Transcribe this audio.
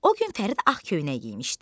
O gün Fərid ağ köynək geymişdi.